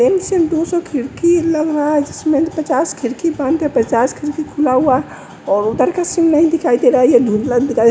दो सौ खिड़की लग रहा है जिसमें पचास खिड़की बंद है पचास खिड़की खुला और उधर का सीन नहीं दिखाई दे रहा है यह धुंधला दिखाई --